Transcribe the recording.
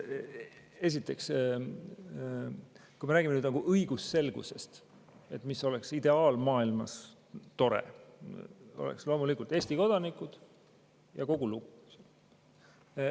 Esiteks, kui me räägime õigusselgusest, mis oleks ideaalmaailmas tore, siis oleks loomulikult Eesti kodanikud, ja kogu lugu.